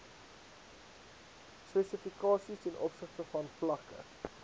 spesifikasies tov vlakke